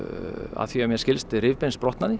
að því er mér skilst